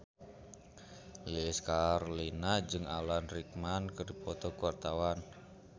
Lilis Karlina jeung Alan Rickman keur dipoto ku wartawan